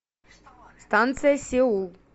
станция сеул